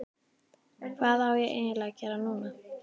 Hvað á ég eiginlega að gera núna???